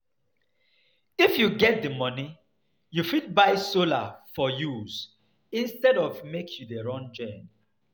If you get di money, you fit buy solar for use instead of make you dey run gen